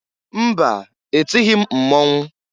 Mba! Etighi m mmọnwụ.